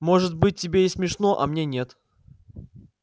может быть тебе и смешно а мне нет